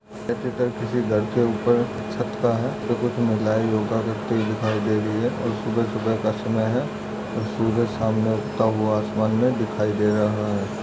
ये चित्र किसी घर के उपर छत का हैं कुछ महिला योगा करते हुए दिखाई दे रही हैं और सुबह-सुबह का समय हैं और सूरज सामने उगता हुआ आसमान मैं दिखाई दे रहा हैं।